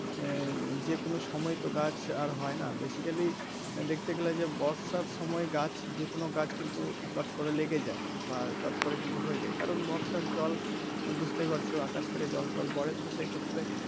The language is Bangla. আহ যেকোনো সময় তো গাছ আর হয় না basically দেখতে গেলে যে বর্ষার সময় গাছ যেকোনো গাছ কিন্তু চট করে লেগে যায় বা চট করে কিন্তু হয়ে যায় বর্ষার জল বুঝতেই পারছো আকাশ থেকে জল টল পরে তো সেক্ষেত্রে.